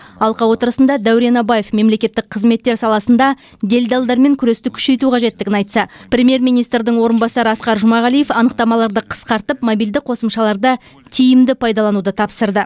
алқа отырысында дәурен абаев мемлекеттік қызметтер саласында делдалдармен күресті күшейту қажеттігін айтса премьер министрдің орынбасары асқар жұмағалиев анықтамаларды қысқартып мобильді қосымшаларды тиімді пайдалануды тапсырды